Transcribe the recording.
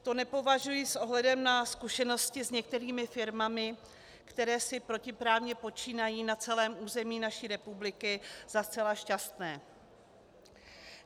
To nepovažuji s ohledem na zkušenosti s některými firmami, které si protiprávně počínají na celém území naší republiky, za zcela šťastné.